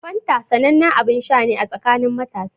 Fanta sanannen abin sha ne a tsakanin matasa.